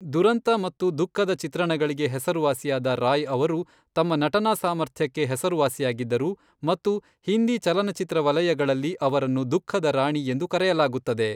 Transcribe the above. ದುರಂತ ಮತ್ತು ದುಃಖದ ಚಿತ್ರಣಗಳಿಗೆ ಹೆಸರುವಾಸಿಯಾದ ರಾಯ್ ಅವರು ತಮ್ಮ ನಟನಾ ಸಾಮರ್ಥ್ಯಕ್ಕೆ ಹೆಸರುವಾಸಿಯಾಗಿದ್ದರು ಮತ್ತು ಹಿಂದಿ ಚಲನಚಿತ್ರ ವಲಯಗಳಲ್ಲಿ ಅವರನ್ನು ದುಃಖದ ರಾಣಿ ಎಂದು ಕರೆಯಲಾಗುತ್ತದೆ.